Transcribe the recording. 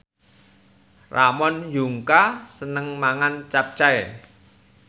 Ramon Yungka seneng mangan capcay